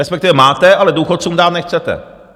Respektive máte, ale důchodcům dát nechcete.